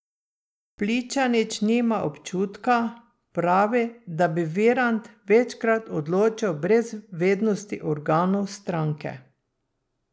Pličanič nima občutka, pravi, da bi Virant večkrat odločal brez vednosti organov stranke.